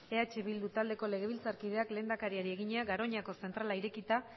eh bildu taldeko legebiltzarkideak lehendakariari egina garoñako zentrala irekita